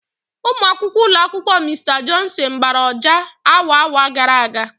Ụmụ akwụkwọ ụlọ akwụkwọ Mr Johnson gbara ọjà awa awa gara aga.